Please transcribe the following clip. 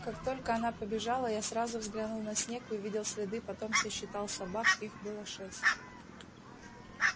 как только она побежала я сразу взглянул на снег и увидел следы потом сосчитал собак их было шесть